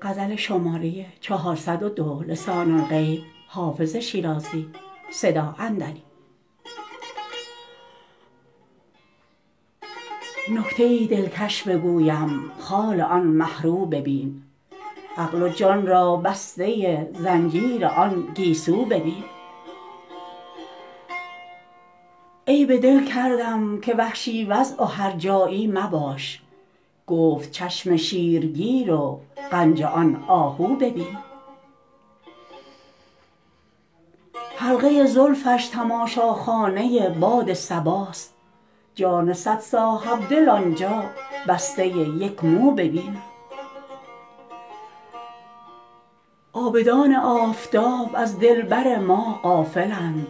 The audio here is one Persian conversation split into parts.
نکته ای دلکش بگویم خال آن مه رو ببین عقل و جان را بسته زنجیر آن گیسو ببین عیب دل کردم که وحشی وضع و هرجایی مباش گفت چشم شیرگیر و غنج آن آهو ببین حلقه زلفش تماشاخانه باد صباست جان صد صاحب دل آن جا بسته یک مو ببین عابدان آفتاب از دلبر ما غافل اند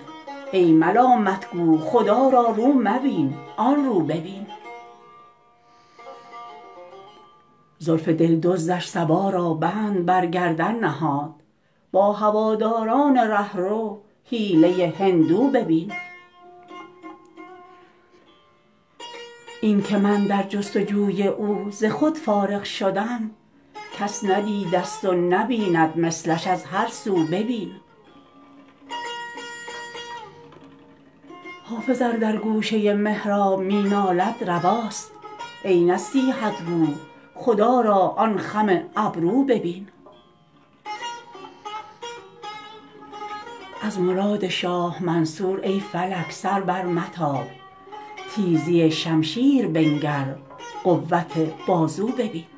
ای ملامت گو خدا را رو مبین آن رو ببین زلف دل دزدش صبا را بند بر گردن نهاد با هواداران ره رو حیله هندو ببین این که من در جست وجوی او ز خود فارغ شدم کس ندیده ست و نبیند مثلش از هر سو ببین حافظ ار در گوشه محراب می نالد رواست ای نصیحت گو خدا را آن خم ابرو ببین از مراد شاه منصور ای فلک سر برمتاب تیزی شمشیر بنگر قوت بازو ببین